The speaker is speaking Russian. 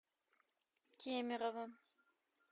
кемерово